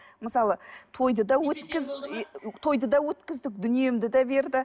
мысалы тойды да өткіз тойды да өткіздік дүниемді де берді